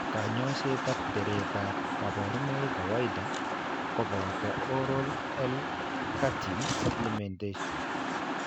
Kanyoiseet ak tereet ab kaborunoik kawaida kobooto oral L cartine supplementation